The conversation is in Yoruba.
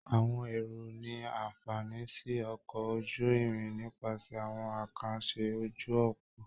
Àwọn èrò ní àǹfààní sí ọkọ̀ ojú-irin nípasẹ̀ àwọn àkànṣe ojú òpó